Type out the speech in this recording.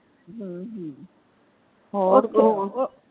ਹਮ ਹਮ ਹੋਰ,